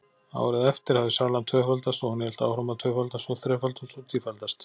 Árið eftir hafði salan tvöfaldast- og hún hélt áfram að tvöfaldast og þrefaldast og tífaldast.